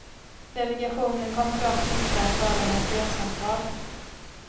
Delegationen kommer dock inte att föra några fredssamtal.